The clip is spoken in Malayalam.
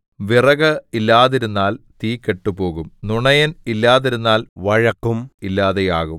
വിറക് ഇല്ലാതിരുന്നാൽ തീ കെട്ടുപോകും നുണയൻ ഇല്ലാതിരുന്നാൽ വഴക്കും ഇല്ലാതെയാകും